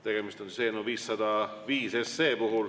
Tegemist on eelnõuga 505.